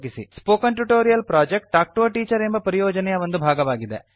spoken tutorial project talk to a teacher ಪರಿಯೋಜನೆಯ ಒಂದು ಭಾಗವಾಗಿದೆ